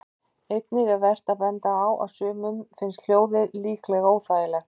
Einnig er vert að benda á að sumum finnst hljóðið líklega óþægilegt.